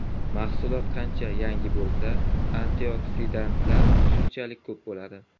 Mahsulot qancha yangi bo‘lsa, antioksidantlar shunchalik ko‘p bo‘ladi.